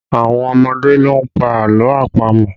Àwọn ọmọdé ló ń pa àlọ́ àpamọ̀